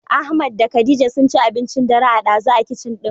Ahmad da khadija sunci abincin dare a ɗazu a kicin ɗin.